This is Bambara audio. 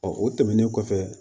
o tɛmɛnen kɔfɛ